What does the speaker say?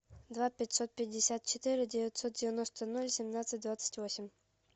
два пятьсот пятьдесят четыре девятьсот девяносто ноль семнадцать двадцать восемь